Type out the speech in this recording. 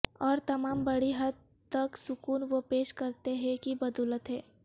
اور تمام بڑی حد تک سکون وہ پیش کرتے ہیں کی بدولت ہے